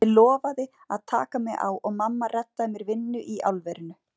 Það er eins og hann sé villtur innan í þessum alltof stóru fötum.